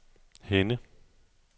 Henne